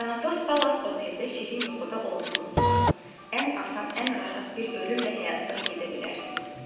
Tanatos Palace oteldə şirin yuxuda olduğunuz vaxt ən asan, ən rahat bir ölümlə həyatdan gedə bilərsiniz.